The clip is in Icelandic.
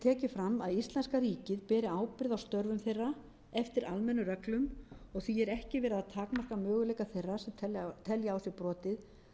tekið fram að íslenska ríkið beri ábyrgð á störfum þeirra eftir almennum reglum og því er ekki verið að takmarka möguleika þeirra sem telja á sér brotið